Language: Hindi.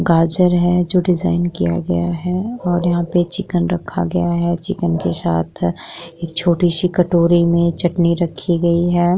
गाजर है जो डिजाइन किया गया है और यहां पर चिकन रखा गया है चिकन के साथ एक छोटी-सी कटोरी में चटनी रक्खी गयी है।